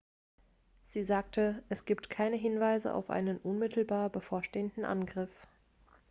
sie sagte es gibt keine hinweise auf einen unmittelbar bevorstehenden angriff